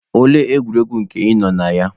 Olee egwuregwu nke ị nọ na ya?